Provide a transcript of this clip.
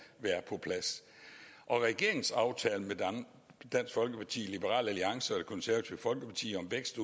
være på plads regeringens aftale med dansk folkeparti liberal alliance og det konservative folkeparti om vækst